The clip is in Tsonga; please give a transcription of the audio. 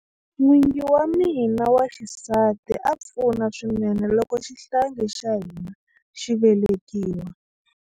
N'wingi wa mina wa xisati a pfuna swinene loko xihlangi xa hina xi velekiwa.